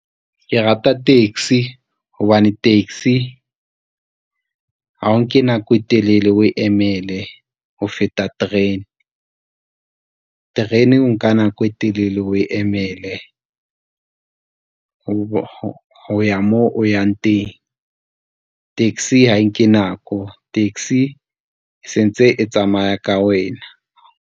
Ke rata taxi hobane taxi ha o nke nako e telele o emele ho feta terene, terene o nka nako e telele o e emele ho ya mo o yang teng. Taxi ha e nke nako, taxi sentse e tsamaya ka wena.